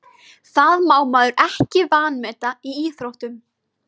Það má maður ekki vanmeta í íþróttum.